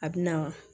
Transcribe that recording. A bɛ na